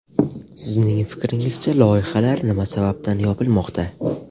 Sizning fikringizcha, loyihalar nima sababdan yopilmoqda?